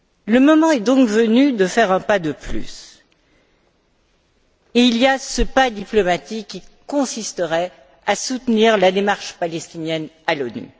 Le moment est donc venu de faire un pas de plus, ce pas diplomatique qui consisterait à soutenir la démarche palestinienne à l'ONU.